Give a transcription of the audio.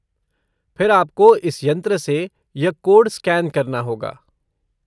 फिर आपको इस यंत्र से यह कोड स्कैन करना होगा।